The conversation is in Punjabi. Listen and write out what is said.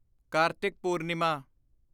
ਕਾਰਤਿਕ ਪੂਰਨਿਮਾ